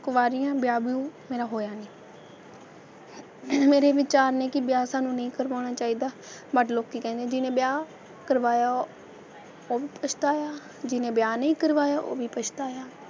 ਕੁਆਰੀ ਹਾਂ, ਵਿਆਹ ਵਿਊਹ ਮੇਰਾ ਹੋਇਆ ਨਹੀਂ ਮੇਰੇ ਵਿਚਾਰ ਨੇ ਕਿ ਵਿਆਹ ਸਾਨੂੰ ਨਹੀ ਕਰਵਾਉਣਾ ਚਾਹੀਦਾ but ਲੋਕੀ ਕਹਿੰਦੇ ਜਿਹਨੇ ਵਿਆਹ ਕਰਵਾਇਆ ਉਹ ਵੀ ਪਛਤਾਇਆ ਜਿਹਨੇ ਵਿਆਹ ਨਹੀਂ ਕਰਵਾਇਆ ਉਹ ਵੀ ਪਛਤਾਇਆ,